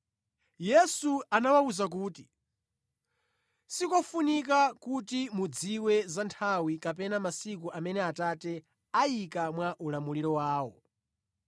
Yesu anawawuza kuti, “Sikofunika kuti mudziwe za nthawi kapena masiku amene Atate ayika mwa ulamuliro wawo.